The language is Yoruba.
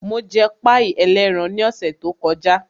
Mo jẹ páì ẹlẹ́ran ní ọ̀sẹ̀ tó kọjá.